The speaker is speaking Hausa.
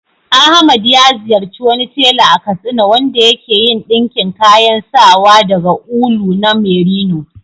Ahmad ya ziyarci wani tela a Katsina wanda ya ke yin ɗinkin kayan sawa daga ulu na merino.